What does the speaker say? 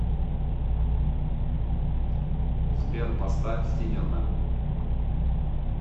сбер поставь синермэн